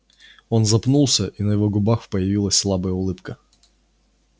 он запнулся и на его губах появилась слабая улыбка